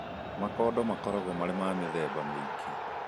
Makondo makorawo marĩ ma mĩthemba mĩingĩ.